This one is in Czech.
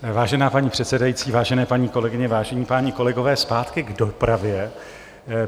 Vážená paní předsedající, vážené paní kolegyně, vážení páni kolegové, zpátky k dopravě.